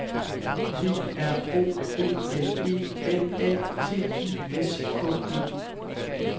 P R O B L E M A T I S K E